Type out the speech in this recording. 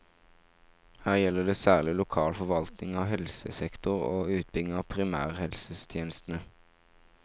Her gjelder det særlig lokal forvaltning av helsesektoren og utbygging av primærhelsetjenestene.